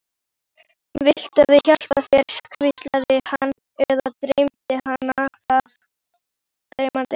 Viltu ég hjálpi þér, hvíslaði hann- eða dreymdi hana það?